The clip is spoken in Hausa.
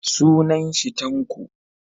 Sunan shi Tanko